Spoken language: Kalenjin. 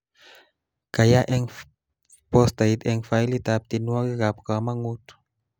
Kayaa eng postait eng failitab tienwokikab komongut